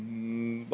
Aitäh!